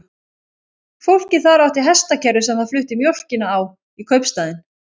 Fólkið þar átti hestakerru sem það flutti mjólkina á í kaupstaðinn.